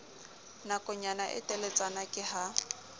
nakonyana e teletsana ke ha